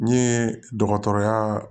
N ye dɔgɔtɔrɔya